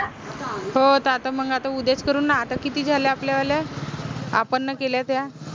हो त आता मंग आता उद्याच करू न आता किती झाल्या? आपल्यावाल्या आपन न केल्या त्या